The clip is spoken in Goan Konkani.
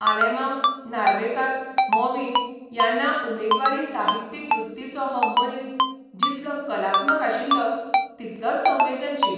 आलेमांव, नार्वेकार, मॉविन यांना उमेदवारी साहित्यीक वृत्तीचो हो मनीस जितलो कलात्मक आशिल्लो तितलोच संवेदनशील.